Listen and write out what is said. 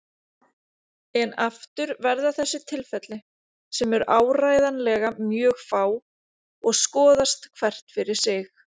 En aftur verða þessi tilfelli, sem eru áreiðanlega mjög fá, að skoðast hvert fyrir sig.